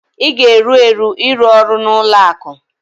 ị ga-eru eru ịrụ ọrụ na ụlọ akụ